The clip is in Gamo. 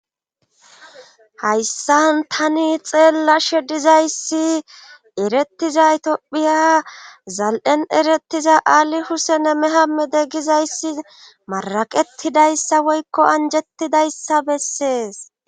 hayssan tani xeella she dizayssi erettiza itiophiya zal7en eretiza aali husene mehamede gizayssi maraqettidayssa woykko anjettidayssa bessees